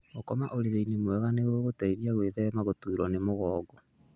Gũkoma ũrĩrĩ-inĩ mwega nĩ gũgũgũteithia gwĩthema gũtuurũo nĩ mugongo.